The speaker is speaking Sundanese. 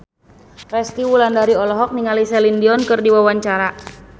Resty Wulandari olohok ningali Celine Dion keur diwawancara